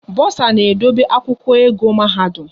Bosa na-edobe akwụkwọ ego mahadum